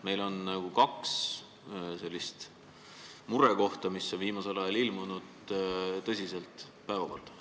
Meil on kaks sellist murekohta, mis on viimasel ajal tulnud tõsiselt päevakorda.